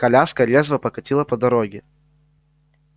коляска резво покатила по дороге